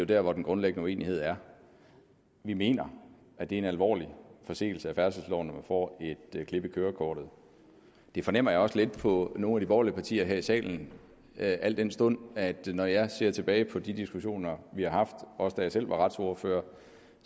der hvor den grundlæggende uenighed er vi mener at det en alvorlig forseelse af færdselsloven når man får et klip i kørekortet det fornemmer jeg også lidt på nogle af de borgerlige partier her i salen al den stund at når jeg ser tilbage på de diskussioner vi har haft også da jeg selv var retsordfører